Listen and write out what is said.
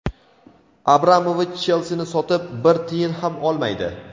Abramovich "Chelsi"ni sotib, bir tiyin ham olmaydi.